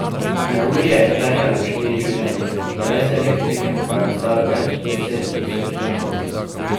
Neurje je terjalo štiri življenja, brez elektrike pa je ostalo več deset tisoč domov.